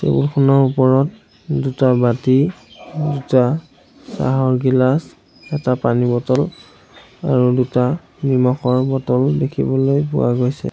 Table খনৰ ওপৰত দুটা বাতি দুটা চাহৰ গিলাছ এটা পানী বটল আৰু দুটা নিমখৰ বটল দেখিবলৈ পোৱা গৈছে।